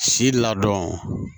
Si ladɔn